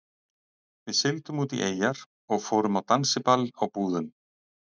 Við sigldum út í eyjar og fórum á dansiball á Búðum.